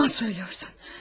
Yalan söyləyirsən.